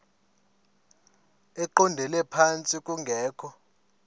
eqondele phantsi kungekho